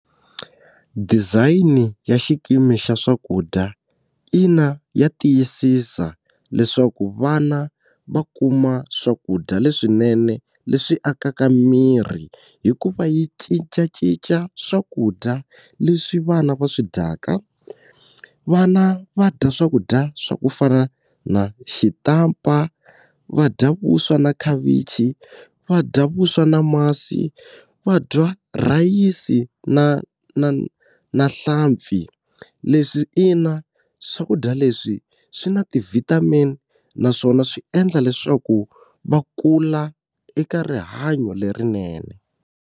Design ya xikimi xa swakudya, ina ya tiyisisa leswaku vana va kuma swakudya leswinene leswi akaka miri hikuva yi cincacinca swakudya leswi vana va swi dyaka vana va dya swakudya swa ku fana na xitampa va dya vuswa na khavichi va dya vuswa na masi va dya rhayisi na na na nhlampfi leswi ina swakudya leswi swi na ti-vitamin-i naswona swi endla leswaku va kula eka rihanyo lerinene.